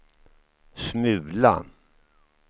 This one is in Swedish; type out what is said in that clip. smula